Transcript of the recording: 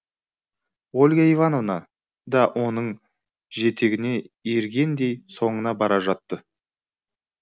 ольга ивановна да оның жетегіне ергендей соңына бара жатты